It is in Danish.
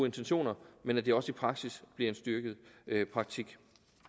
intentioner men at det også i praksis bliver en styrket praktik